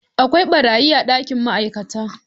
Akwai beraye a dakin ma'aikata.